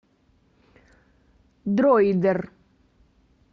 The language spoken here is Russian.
дроидер